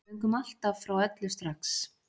Við göngum alltaf frá öllu strax